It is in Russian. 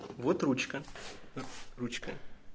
вот ручка ручка